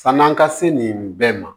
San'an ka se nin bɛɛ ma